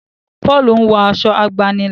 Paul nwo Aṣọ àgbànilà.